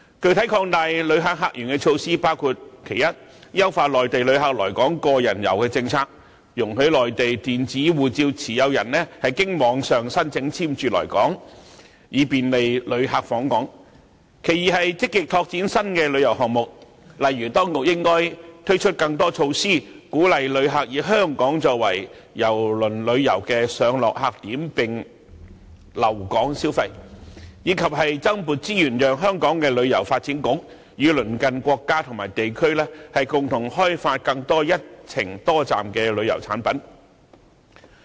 具體擴大旅客客源的措施包括：一、優化內地旅客來港"個人遊"政策，容許內地電子護照持有人經網上申請簽注來港，以便利旅客訪港；二、積極拓展新的旅遊項目，例如當局應該推出更多措施，鼓勵旅客以香港作為郵輪旅遊的上落客點並留港消費，以及增撥資源，讓香港旅遊發展局與鄰近國家和地區共同開發更多"一程多站"的旅遊產品。